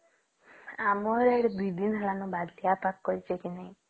ଆମର ଏଠି ୨ ଦିନ ହେଲା ବଢିଆ ପାଗ କରିଛେ କି ନାଇଁ